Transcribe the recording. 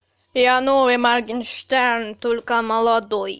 я новый моргенштерн только молодой